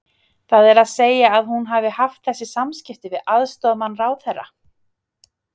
Það er að segja að hún hafi haft þessi samskipti við aðstoðarmann ráðherra?